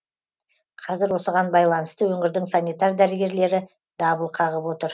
қазір осыған байланысты өңірдің санитар дәрігерлері дабыл қағып отыр